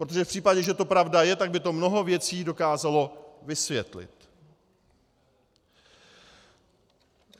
Protože v případě, že to pravda je, tak by to mnoho věcí dokázalo vysvětlit.